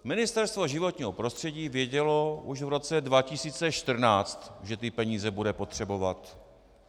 Ministerstvo životního prostředí vědělo už v roce 2014, že ty peníze bude potřebovat.